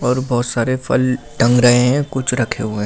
और बहुत सारे फल टंग रहे हैं कुछ रखे हुए--